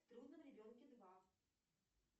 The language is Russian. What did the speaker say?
в трудном ребенке два